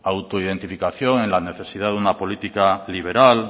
auto identificación en la necesidad de una política liberal